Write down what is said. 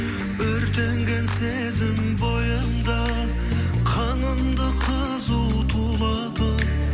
өртенген сезім бойыңда қанымды қызу тулатып